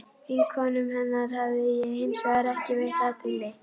Vinkonum hennar hafði ég hins vegar ekki veitt athygli.